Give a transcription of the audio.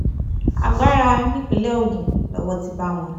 agbára nípínlẹ̀ ogun lowó ti bá wọn